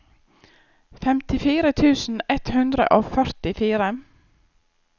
femtifire tusen ett hundre og førtifire